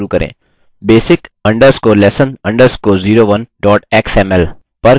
basic_lesson_01xml पर click करें